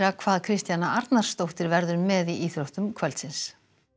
hvað Kristjana Arnarsdóttir verður með í íþróttum kvöldsins